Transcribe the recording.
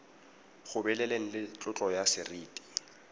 gobeleleng le tlotlo ya seriti